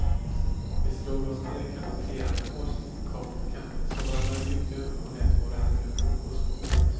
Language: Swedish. Vi slog oss ner i cafeterian med var sin kopp kaffe, såg varandra djupt i ögonen och lät våra händer umgås på bordet.